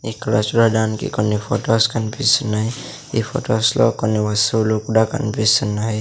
ఇక్కడ చూడడానికి కొన్ని ఫొటోస్ కన్పిస్తున్నాయి ఈ ఫొటోస్ లో కొన్ని వస్తువులు కూడా కన్పిస్తున్నాయి.